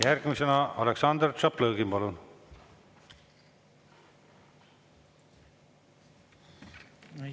Järgmisena Aleksandr Tšaplõgin, palun!